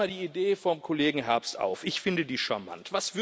Ich greife mal die Idee vom Kollegen Herbst auf ich finde die charmant.